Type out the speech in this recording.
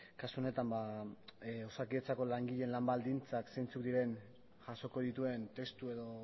kasu honetan osakidetzako langileen lan baldintzak zeintzuk diren jasoko dituen testu edo